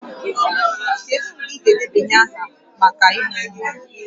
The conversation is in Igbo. Kedu mgbe ị ga-edebanye aha maka ịmụ nwa?